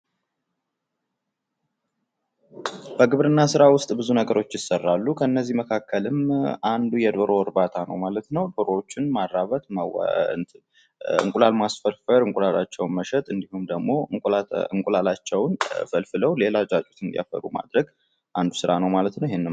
ከግብርና ስራዎች ውስጥ ብዙ ነገሮች ይሰራሉ። ከነዚህ መካከልም አንዱ የዶሮ እርባታ ነው ማለት ነው። ዶሮውቹን ማራባት፣ እንቁላል ማስፈልፈል፣ እንቁላላቸውን መሸጥ እንዲሁም ደሞ እንቁላላቸውን ፈልፍለው ሌላ ጫጩት እንዲያፈሩ ማድረግ አንዱ ስራ ነው ማለት ነው።